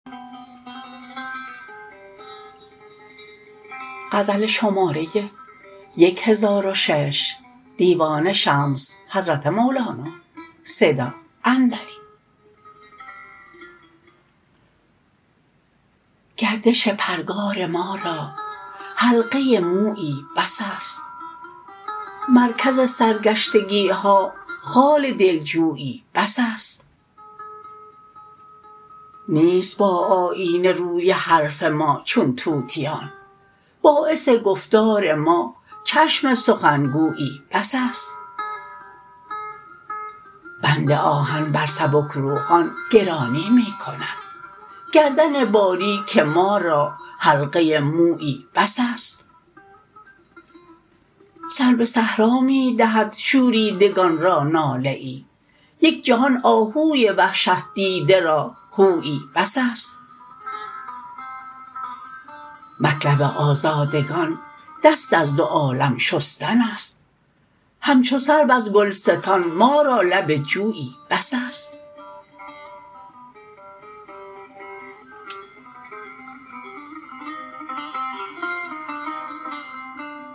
گردش پرگار ما را حلقه مویی بس است مرکز سرگشتگی ها خال دلجویی بس است نیست با آیینه روی حرف ما چون طوطیان باعث گفتار ما چشم سخنگویی بس است بند آهن بر سبکروحان گرانی می کند گردن باریک ما را حلقه مویی بس است سر به صحرا می دهد شوریدگان را ناله ای یک جهان آهوی وحشت دیده را هویی بس است مطلب آزادگان دست از دو عالم شستن است همچو سرو از گلستان ما را لب جویی بس است